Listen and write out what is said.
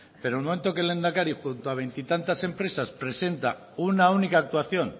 pero en el momento que el lehendakari junto a veintitantas empresas presenta una única actuación